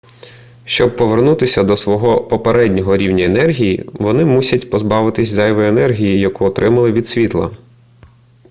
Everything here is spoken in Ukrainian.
щоби повернутися до свого попереднього рівня енергії вони мусять позбавитися зайвої енергії яку отримали від світла